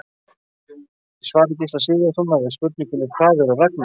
Í svari Gísla Sigurðssonar við spurningunni Hvað eru ragnarök?